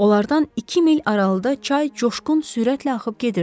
Onlardan iki mil aralıqda çay coşqun sürətlə axıb gedirdi.